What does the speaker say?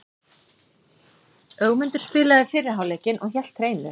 Ögmundur spilaði fyrri hálfleikinn og hélt hreinu.